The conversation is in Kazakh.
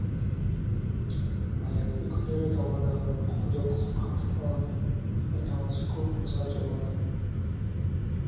аязды күндері даладағы құдық қатып қалады айналасы көк мұзға толады